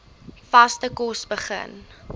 vaste kos begin